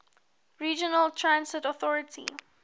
regional transit authority